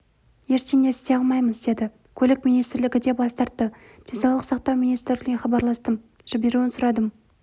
ештеңе істей алмаймыз деді көлік министрлігі де бас тартты денсаулық сақтау министрлігіне хабарластым жіберуін сұрадым